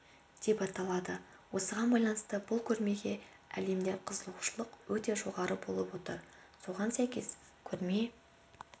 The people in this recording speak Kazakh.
деп аталады осыған байланысты бұл көрмеге әлемде қызығушылық өте жоғары болып отыр соған сәйкес көрме